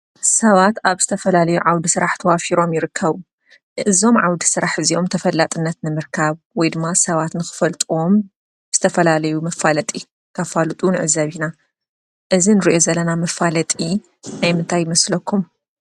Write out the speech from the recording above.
ሰባት ኣብ ዝተፈላለየ ዓዉደ ስራሕ ተዋፊሮም ይርከቡ። እዞም ዓዉደ ስራሕ እዚኦም ተፈላጥነት ንምርካብ ወይ ድማ ሰባት ንኽፈልጥዎም ዝተፈላለዩ መፋለጢ ከፋልጡ ንዕዘብ ኢና። እዚ እንሪኦ ዘለና መፋለጢ ናይ ምንታይ ይመስለኩም?